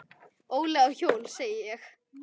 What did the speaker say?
Óli á hjól, sagði ég.